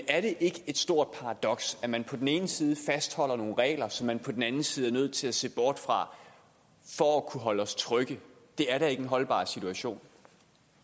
er det ikke et stort paradoks at man på den ene side fastholder nogle regler som man på den anden side er nødt til at se bort fra for at kunne holde os trygge det er da ikke en holdbar situation